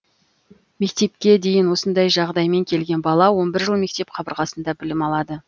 мектепке де осындай жағдаймен келген бала он бір жыл мектеп қабырғасында білім алады